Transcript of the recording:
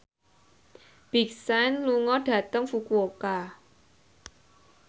Big Sean lunga dhateng Fukuoka